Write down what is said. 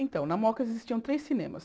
Então, na Moca existiam três cinemas.